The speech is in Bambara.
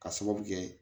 Ka sababu kɛ